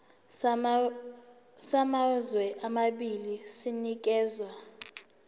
samazwe amabili sinikezwa